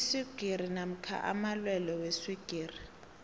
iswigiri namkha amalwelwe weswigiri